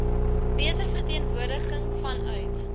beter verteenwoordiging vanuit